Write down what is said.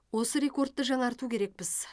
осы рекордты жаңарту керекпіз